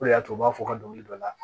O de y'a to u b'a fɔ ka dɔnkili da la